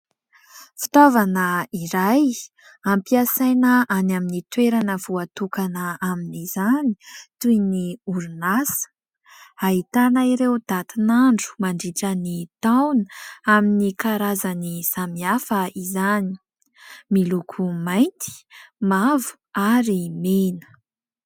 Fitaovana iray ampiasaina any amin'ny toerana voatokana amin'izany toy ny orinasa ; ahitana ireo datin'andro mandritra ny taona amin'ny karazany samihafa izany ; miloko mainty, mavo ary mena.